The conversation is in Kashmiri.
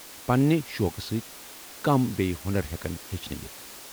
پننہِ شوقہٕ سۭتۍ كم بییہِ ہۄنر ہیكن ہیچھنہٕ یِتھ ؟